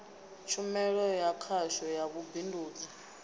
tshumelo ya khasho ya vhubindudzi